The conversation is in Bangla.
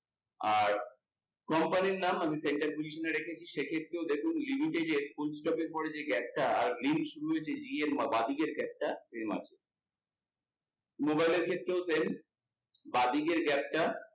আর, comapny র নাম আমি center region এ রেখেছি, সেক্ষেত্রেও দেখুন পরে যে gap টা, এই শুরু হয়েছে G এর বাঁদিকের gap টা এরকম আছে। Mobile এর ক্ষেত্রেও same বাঁদিকের gap টা।